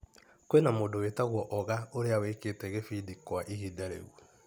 Kwina mũndũ wĩtagwo oga ũrĩa wĩkĩte kĩbindi kwa ihinda rĩu